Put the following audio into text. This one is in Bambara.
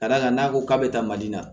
Ka d'a kan n'a ko k'a bɛ taa mali la